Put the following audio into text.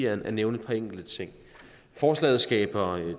at nævne et par enkelte ting forslaget skaber